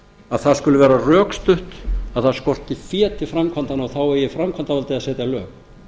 að það skuli vera rökstutt að það skorti fé til framkvæmdanna þá eigi framkvæmdavaldið að setja lög